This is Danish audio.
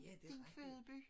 Din fødeby